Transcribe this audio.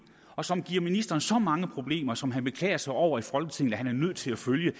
og som giver ministeren så mange problemer som han beklager sig over han er nødt til at følge